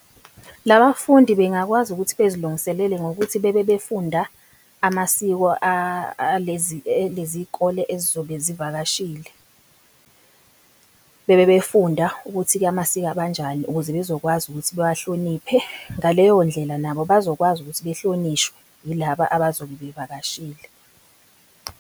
La bafundi bengakwazi ukuthi bezilungiselele ngokuthi bebe befunda amasiko alezikole ezizobe zivakashile. Bebe befunda ukuthi-ke amasiko abo anjani ukuze bezokwazi ukuthi bewabahloniphe. Ngaleyo ndlela nabo bazokwazi ukuthi behlonishwe yilaba abazobe bevakashile.